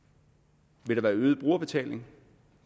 vil der være øget brugerbetaling